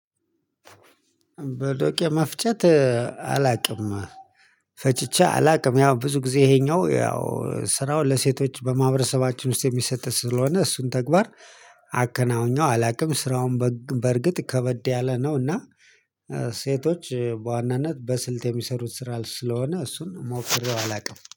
በዶቄ መፍጨት አላቅም። ፈጭቼ አላቅም ያው ብዙ ጊዜ ይሄኛው ያው ስራው ለሴቶች በማህበረሰባችን ውስጥ የሚሰጥ ስለሆነ እሱን ተግባር አከናውኘው አላቅም። ስራውን በግ በእርግጥ ከበድ ያለ ነው። እና ሴቶች በዋናነት በስልት የሚሰሩት ስራ ስለሆነ እሱን ሞክሬው አላቅም